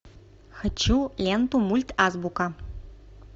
хочу ленту мультазбука